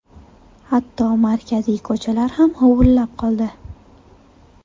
Hatto markaziy ko‘chalar ham huvullab qoldi.